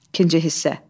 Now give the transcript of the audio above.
İkinci hissə.